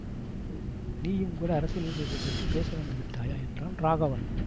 நீயும் கூட அரசியல் விஷயத்தை பற்றி பேச வந்து விட்டாயா என்றான் ராகவன்